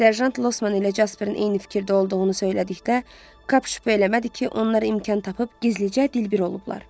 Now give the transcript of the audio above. Serjant Losman ilə Jasperin eyni fikirdə olduğunu söylədikdə, Kap şübhə eləmədi ki, onlar imkan tapıb gizlicə dilbir olublar.